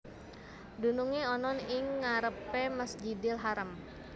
Dunungé ana ing ngarepé Masjidil Haram